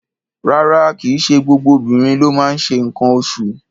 Rárá, kì í ṣe gbogbo obìnrin ló máa ń ṣe nǹkan oṣụ̀.